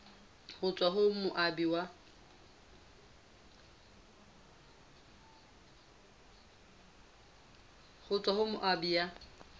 ho tswa ho moabi ya